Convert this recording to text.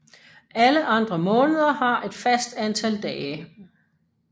Alle andre måneder har et fast antal dage